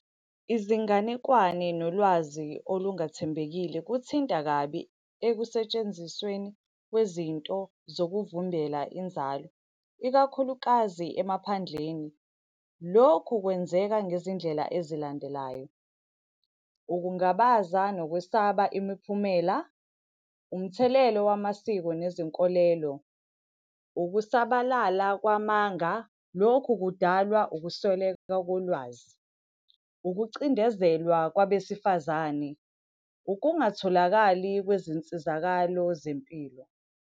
Izinganekwane nolwazi olungathembekile kuthinta kabi ekusentshenzisweni kwezinto zokuvimbela inzalo, ikakhulukazi emaphandleni. Lokhu kwenzeka ngezindlela ezilandelayo. Ukungabaza nokwesaba imiphumela. Umthelelo wamasiko nezinkolelo. Ukusabalala kwamanga, lokhu kudalwa ukusweleka kolwazi. Ukucindezelwa kwabesifazane. Ukungatholakali kwezinsizakalo zempilo.